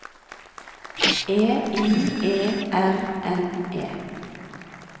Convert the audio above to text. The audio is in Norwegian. E I E R N E